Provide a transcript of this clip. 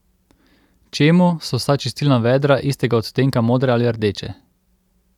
Čemu so vsa čistilna vedra istega odtenka modre ali rdeče?